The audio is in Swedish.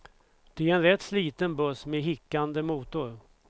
Det är en rätt sliten buss med hickande motor.